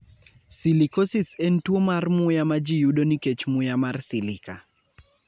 Silicosis en tuwo mar muya ma ji yudo nikech muya mar silica.